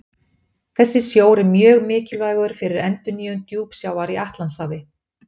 Þessi sjór er mjög mikilvægur fyrir endurnýjun djúpsjávar í Atlantshafi.